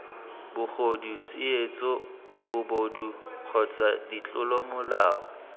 bogodu tsietso bobodu kgotsa ditlolomolao